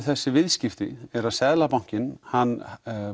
þessi viðskipti er að Seðlabankinn hann